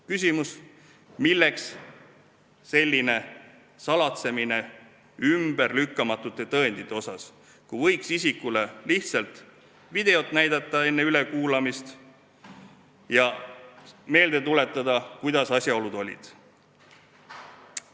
Küsimus: milleks selline salatsemine ümberlükkamatute tõenditega, kui võiks isikule enne ülekuulamist lihtsalt videot näidata ja meelde tuletada, kuidas asjaolud olid?